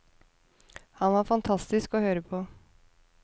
Han var fantastisk å høre på.